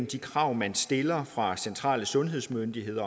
de krav man stiller fra centrale sundhedsmyndigheders